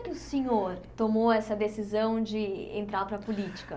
Como é que o senhor tomou essa decisão de entrar para a política?